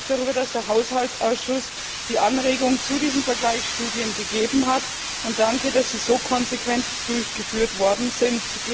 Ich freue mich darüber, dass der Haushaltsausschuss die Anregung zu diesen Vergleichsstudien gegeben hat, und danke, dass sie so konsequent durchgeführt worden sind.